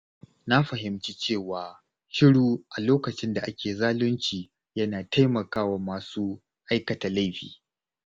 Na fahimci cewa yin shiru a lokacin da ake zalunci yana taimakawa masu aikata laifi.